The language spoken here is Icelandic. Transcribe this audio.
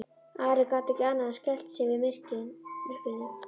Ari gat ekki annað en skælt sig við myrkrinu.